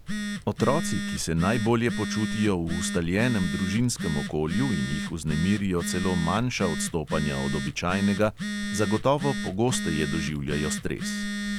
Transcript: Otroci, ki se najbolje počutijo v ustaljenem družinskem okolju in jih vznemirijo celo manjša odstopanja od običajnega, zagotovo pogosteje doživljajo stres.